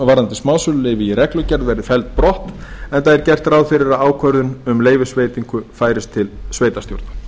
varðandi smásöluleyfi í reglugerð verði felld brott enda er gert ráð fyrir að ákvörðun um leyfisveitingu færist til sveitarstjórnar